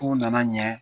K'u nana ɲɛ